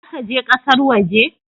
Za ka je ƙasar waje?